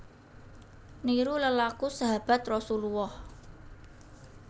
Niru lelaku sahabat Rasulullah